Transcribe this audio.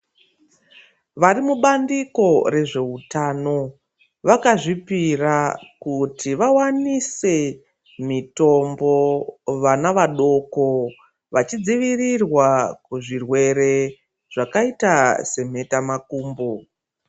Vari mubandiko rezveutano, vakazvipira kuti vawanise mitombo, vana vadoko, vachichidzivirirwa kuzvirwere zvakaita semhetamakumbo.